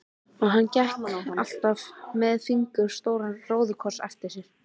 Og hann gekk alltaf með fingur stóran róðukross á sér.